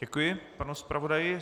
Děkuji panu zpravodaji.